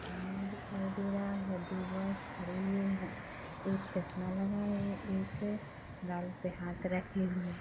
वहाँ पानी दिखाई दे रहा है दो बॉइज खड़े हुए है एक चश्मा लगाए एक गाल पे हाथ रखे--